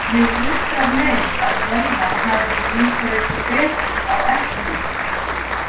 Mig undrar meir að völvan hafi ekki vísað ykkur betur á eplið.